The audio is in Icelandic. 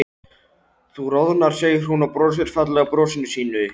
Þú roðnar, segir hún og brosir fallega brosinu sínu.